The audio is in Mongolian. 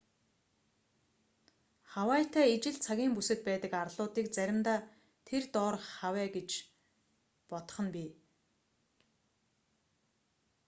хавайтай ижил цагийн бүсэд байдаг арлуудыг заримдаа тэр доорх хавай гэж бодох нь бий